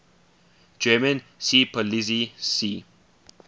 german seepolizei sea